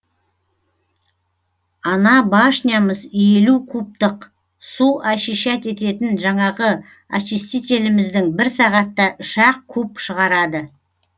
ана башнямыз елу кубтық су очищать ететін жаңағы очистителіміздің бір сағатта үш ақ куб шығарады